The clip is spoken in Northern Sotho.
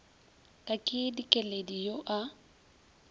ka ke dikeledi yo a